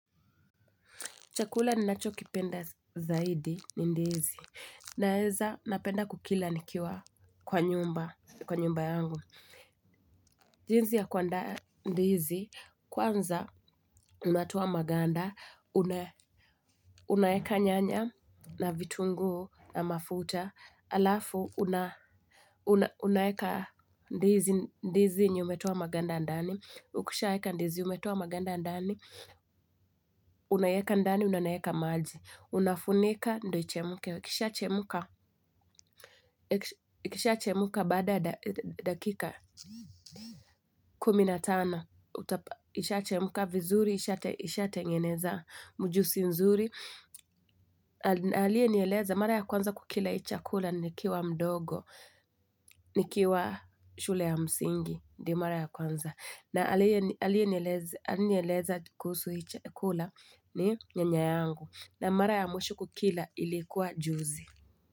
Chakula ninacho kipenda zaidi, ni ndizi. Naeza, napenda kukila nikiwa kwa nyumba, kwa nyumba yangu. Jinsi ya kuaanda ndizi, kwanza unatoa maganda, una, unaeka nyanya na vitungu na mafuta, alafu unaeka ndizi ni umetoa maganda ndani, ukisha eka ndizi umetoa maganda ndani, unaeka ndani, na unaeka maji. Unafunika ndio ichemke, ikisha chemka, ikisha chemka, baada dakika kumi na tano uta ikisha chemka vizuri. Isha tengeneza mjusi nzuri. Aliyenieleza mara ya kwanza kukila hii chakula. Nikiwa mdogo nikiwa shule ya msingi ndio mara ya kwanza na aliye aliyenieleza kuhusu hii chakula, ni nyanya yangu, na mara ya mwisho kukila, ilikuwa juzi.